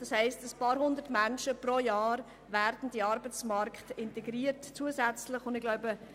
Es bedeutet, dass ein paar Hundert Menschen pro Jahr zusätzlich in den Arbeitsmarkt integriert werden können.